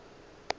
ile a re ge a